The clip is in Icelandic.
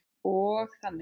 Og þannig.